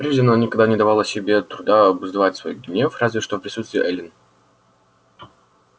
прежде она никогда не давала себе труда обуздывать свой гнев разве что в присутствии эллин